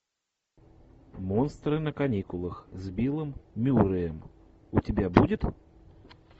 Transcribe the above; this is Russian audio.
монстры на каникулах с биллом мюрреем у тебя будет